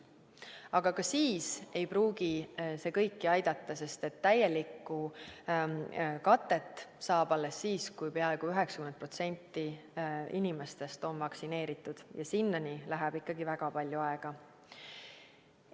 Aga ka siis ei pruugi see kõiki aidata, sest täielikku kaitset saab alles siis, kui peaaegu 90% inimestest on vaktsineeritud, ja sinnani läheb ikkagi väga palju aega.